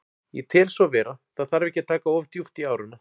Ég tel svo vera, það þarf ekki að taka of djúpt í árina.